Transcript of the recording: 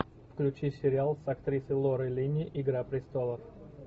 включи сериал с актрисой лорой линни игра престолов